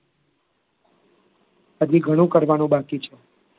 હજી ઘણું કરવાનું બાકી છે.